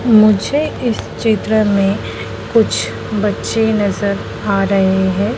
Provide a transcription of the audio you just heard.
मुझे इस चित्र में कुछ बच्चे नजर आ रहे हैं।